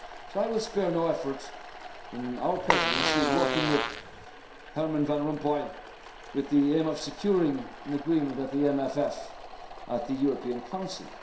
and needed soon. I will spare no effort in our Presidency in working with Herman Van Rompuy with the aim of securing agreement on the MFF at the